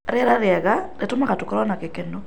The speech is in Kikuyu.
Rĩera rĩega rĩtũtũmaga tũkorwo na gĩkeno.